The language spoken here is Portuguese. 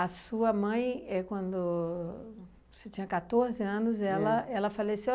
sua mãe, é quando você tinha quatorze anos, ela ela faleceu.